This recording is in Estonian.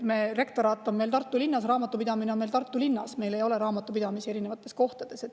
Rektoraat on Tartu linnas, raamatupidamine on Tartu linnas, meil ei ole raamatupidamist erinevates kohtades.